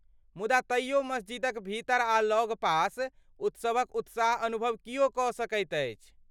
मुदा तैयो मस्जिदक भीतर आ लगपास उत्सवक उत्साह अनुभव किओ कऽ सकैत अछि।